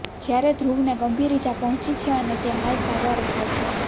જ્યારે ધ્રુવને ગંભીર ઇજા પહોંચી છે અને તે હાલ સારવાર હેઠળ છે